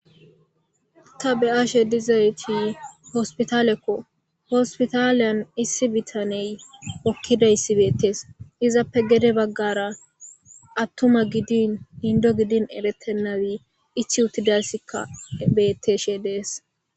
Ta be'ashe dizayssi hospitaleko hospitaliyan issi bitaney hokkidayssi bettees izape gede baggara atuma gidinn inddo gidin erettenabi ichchi utidasikka beetishe dees.